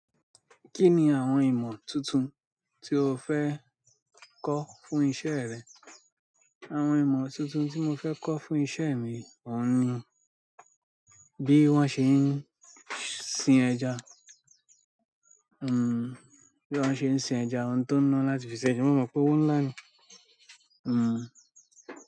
Kí ni àwọn ìmọ̀ tuntun tí o fẹ́ kọ́ fún iṣẹ́ rẹ? Àwọn ìmọ̀ tuntun tí mo fẹ́ kọ́ fún iṣẹ́ mi, òun ni bí wọ́n ṣe ń sin ẹja, hmm, bí wọ́n ṣe ń sin ẹja, ohun tó ná láti fi ṣe ẹja. Mo mọ̀ pé owó ńlá ni, hmm.